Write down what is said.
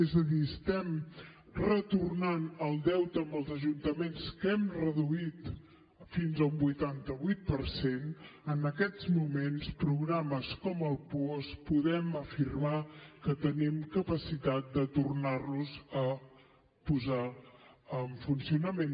és a dir estem retornant el deute als ajuntaments que l’hem reduït fins a un vuitanta vuit per cent en aquests moments programes com el puosc podem afirmar que tenim capacitat de tornar los a posar en funcionament